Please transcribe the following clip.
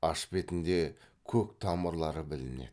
аш бетінде көк тамырлары білінеді